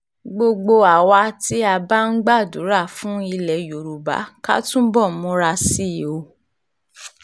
gbogbo àwa tí a a bá ń gbàdúrà fún ilẹ̀ yorùbá ká túbọ̀ múra sí i o